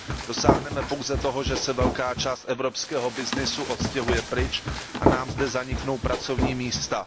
Dosáhneme pouze toho, že se velká část evropského byznysu odstěhuje pryč a nám zde zaniknou pracovní místa.